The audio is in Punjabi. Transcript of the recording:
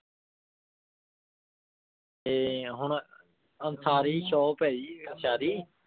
ਤੇ ਹੁਣ ਅੰਸਾਰੀ shop ਹੈ ਜੀ ਅੰਸਾਰੀ।